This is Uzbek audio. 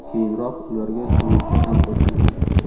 Keyinroq ularga suzuvchi ham qo‘shilgan.